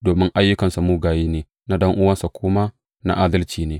Domin ayyukansa mugaye ne, na ɗan’uwansa kuma na adalci ne.